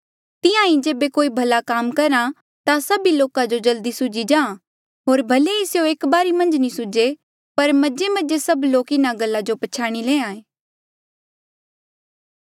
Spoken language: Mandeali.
तिहां ईं जेबे कोई भला काम करहा ता सभी लोका जो जल्दी सूझी जाहाँ होर भले ही स्यों एक बारी मन्झ नी सूझे पर मजेमजे सभ लोक इन्हा गल्ला जो पछयाणी ले